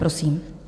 Prosím.